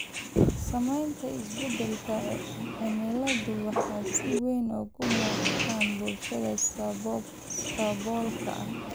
Saamaynta isbeddelka cimiladu waxay si weyn uga muuqataa bulshada saboolka ah.